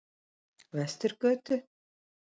Vesturgötu